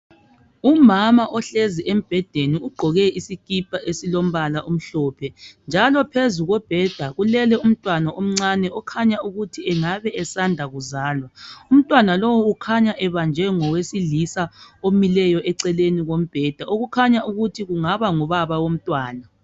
Umama ohlezi embhedeni ugqoke isikipa esilombala omhlophe njalo phezulu kombheda kulele umntwana omncane okhanya ukuthi engabe esanda kuzala , umntwana lowu ukhanya ebanjwe ngowesilisa omileyo eceleni kombheda okukhanya ukuthi kungaba ngubaba womntwana.